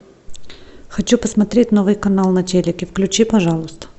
хочу посмотреть новый канал на телике включи пожалуйста